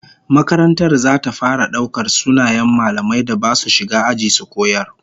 Makarantar zata fara daukar sunayen mallaman da basu shiga aji su koyar